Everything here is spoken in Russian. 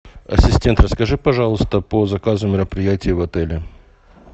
ассистент расскажи пожалуйста по заказу мероприятия в отеле